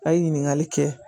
A' ye ɲininkali kɛ